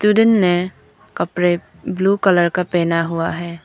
ने कपड़े blue colour का पहना हुआ है।